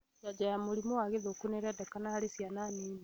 Njanjo ya mũrimũ wa gĩthũkũ nĩirendekana harĩ ciana nini